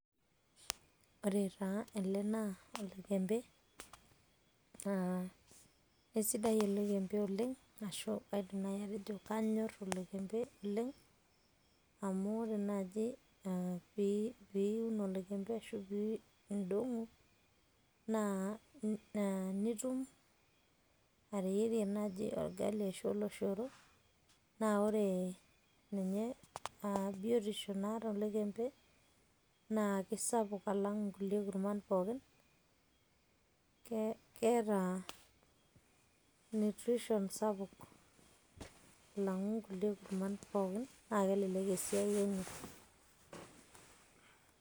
ore taa ele naa olekembee, naa keisidai olekembe oleng, ashu kaidim naaji atejo kanyor olekembe oleng. amu ore naaji piiiun olekembe ashu idong'u naa nitum ateyierie orgali naaji ashu ooloshoro, naa ore, ninye biotisho naata olekembe, naa kisapuk alang'kulie kurman pookin. keeta nutrition sapuk. alang'u nkulie kurman pookin, naa kelelek esiai enye.